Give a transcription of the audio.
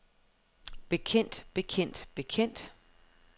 bekendt bekendt bekendt